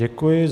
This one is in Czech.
Děkuji.